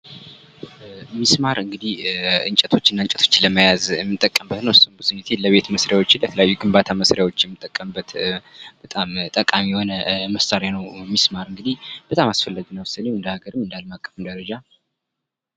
ምስማር እንግዲህ እንጨቶችና እንጨቶችን ለማያያዝ የምንጠቀምበት ነው ። እሱም ብዙ ጊዜ የቤት መስራያችና ግንባታ የምንጠቀምበት በጣም ጠቃሚ የሆነ መሣሪያ ነው ምስማር እንግዲ በጣም አስፈላጊ ነው እንደሃገር እንዳለማቀፍ አቀፍም ደረጃ።